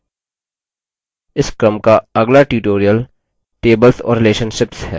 इस क्रम का अगला tutorial tables tables और relationships relationships है